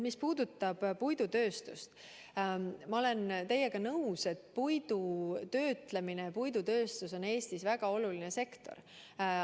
Mis puudutab puidutööstust, siis ma olen teiega nõus, et puidu töötlemine ja puidutööstus on Eestis väga oluline sektor.